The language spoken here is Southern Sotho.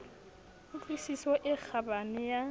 ku tlwisiso e kgabane ya